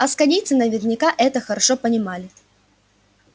асконийцы наверняка это хорошо понимали